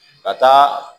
Ka taa